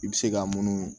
I bɛ se ka munu